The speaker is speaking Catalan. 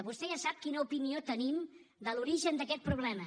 vostè ja sap quina opinió tenim de l’origen d’aquest problema